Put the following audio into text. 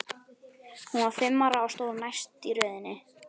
Hún var fimm ára og stóð næst í röðinni.